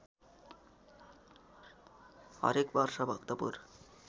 हरेक वर्ष भक्तपुर